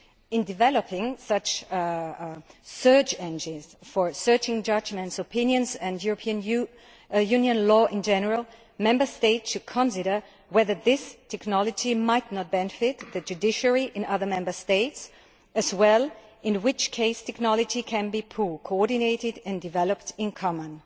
In developing such search engines for searching judgments, opinions and European Union law in general, Member States should consider whether this technology might not benefit the judiciary in other Member States as well, in which case technology can be pooled, coordinated and developed in common.